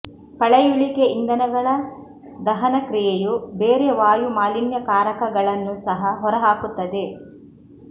ಪಳೆಯುಳಿಕೆ ಇಂಧನಗಳ ದಹನ ಕ್ರಿಯೆಯು ಬೇರೆ ವಾಯು ಮಾಲಿನ್ಯಕಾರಕಗಳನ್ನೂ ಸಹ ಹೊರಹಾಕುತ್ತದೆ